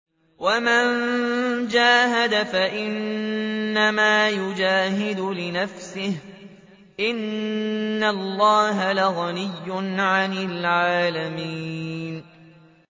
وَمَن جَاهَدَ فَإِنَّمَا يُجَاهِدُ لِنَفْسِهِ ۚ إِنَّ اللَّهَ لَغَنِيٌّ عَنِ الْعَالَمِينَ